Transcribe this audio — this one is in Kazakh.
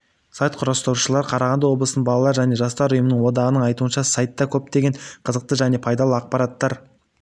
сайт құрастырушылары қарағанды облысының балалар және жастар ұйымының одағының айтуынша сайтта көптеген қызықты және пайдалы ақпараттар